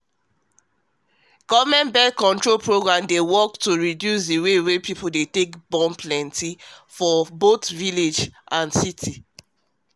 government birth-control programs dey work to reduce the way people dey plenty both for village and city